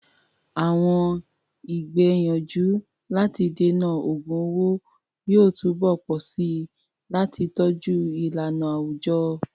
Àwọn ìgbìyànjú láti dènà ògun owó yóò túbọ̀ pọ̀ sí i láti tọ́jú ìlànà àwùjọ.